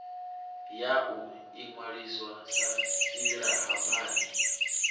ya u inwalisa sa silahapani